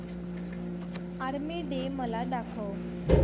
army day मला दाखव